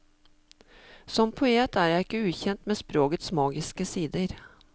Som poet er jeg ikke ukjent med sprogets magiske sider.